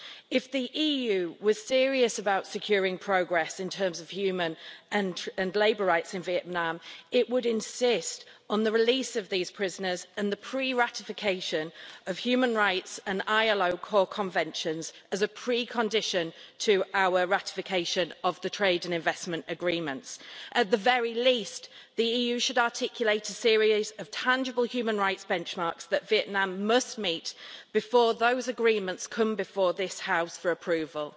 if the EU was serious about securing progress in terms of human and labour rights in Vietnam it would insist on the release of these prisoners and the pre ratification of human rights and ILO core conventions as a precondition to our ratification of the trade and investment agreements. At the very least, the EU should articulate a series of tangible human rights benchmarks that Vietnam must meet before those agreements come before this House for approval.